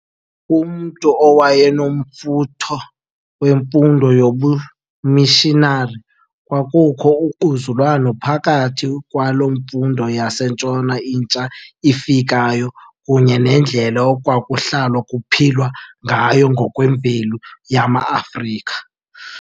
Kumntu owayenomfutho wemfundo yobumishinari, kwakukho ungquzulwano phakathi kwale mfundo yaseNtshona intsha ifikayo kunye nendlela ekwakuhlalwa kuphilwa ngayo ngokwemveli yamaAfrika.